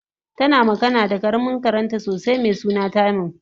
tana magana da karamin karenta sosai mesuna simon